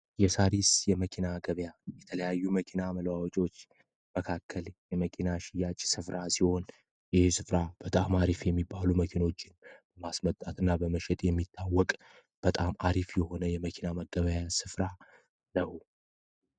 የሳሪስ የመኪና ገበያ የተለያዩ መኪና መለዋወጫዎች መካከል የመኪና መሸጫ ስፍራ ሲሆን ህሀ ስፍራ በጣም አሪፍ የሚባሉ መኪናዎችን ማስመጣት እና በመሸጥ የሚታወቅ በጣም አሪፍ የሆነ የመኪና መገበያያ ስፍራ ነው።